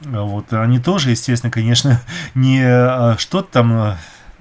вот а они тоже естественно конечно ха-ха не а что там